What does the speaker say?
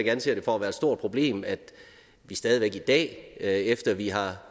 anser det for at være et stort problem at vi stadig væk i dag efter at vi har